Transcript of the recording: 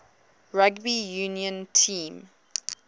rugby union team